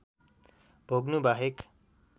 भोग्नु बाहेक